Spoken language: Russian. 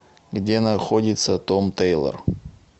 где находится том тэйлор